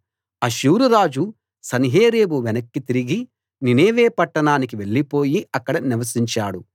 అష్షూరురాజు సన్హెరీబు వెనక్కి తిరిగి నీనెవె పట్టణానికి వెళ్ళిపోయి అక్కడ నివసించాడు